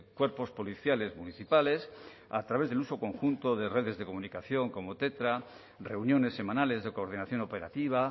cuerpos policiales municipales a través del uso conjunto de redes de comunicación como tetra reuniones semanales de coordinación operativa